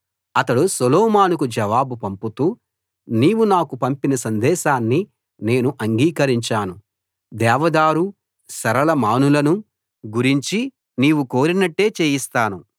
అతడు సొలొమోనుకు జవాబు పంపుతూ నీవు నాకు పంపిన సందేశాన్ని నేను అంగీకరించాను దేవదారు సరళ మానులను గురించి నీవు కోరినట్టే చేయిస్తాను